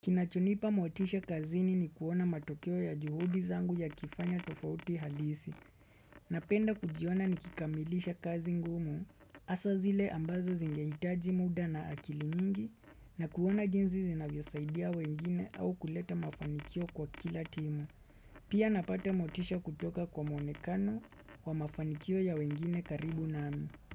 Kinachonipa motisha kazini ni kuona matokeo ya juhudi zangu yakifanya tofauti halisi, na penda kujiona nikikamilisha kazi ngumu, hasaa zile ambazo zingehitaji muda na akili nyingi, na kuona jinzi zinavyo saidia wengine au kuleta mafanikio kwa kila timu. Pia napata motisha kutoka kwa mwonekano wa mafanikio ya wengine karibu nami.